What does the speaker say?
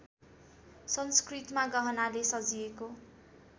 संस्कृतमा गहनाले सजिएको